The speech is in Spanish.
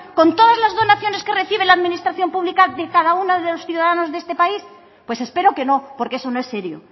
con todas las donaciones que recibe la administración pública de cada uno de los ciudadanos de este país pues espero que no porque eso no es serio